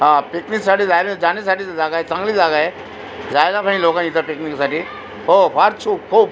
हा पिकनीक साठी जाह जाण्यासाठी जागाय चांगली जागाय जायला पाहिजे लोकानी इथ पिकनीकसाठी हो फार छुक खूप --